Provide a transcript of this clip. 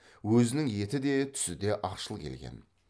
өзінің еті де түсі де ақшыл келген